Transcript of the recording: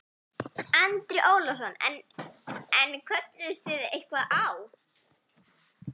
Andri Ólafsson: En, en kölluðust þið eitthvað á?